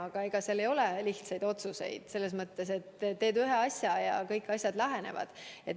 Aga ega seal ei ole lihtsaid otsuseid selles mõttes, et ei ole nii, et teed ühe asja, ja kõik asjad lahenevad.